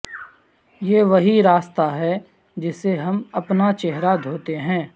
یہ وہی راستہ ہے جسے ہم اپنا چہرہ دھوتے ہیں